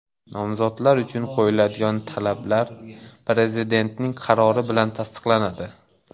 Nomzodlar uchun qo‘yiladigan talablar Prezidentning qarori bilan tasdiqlanadi.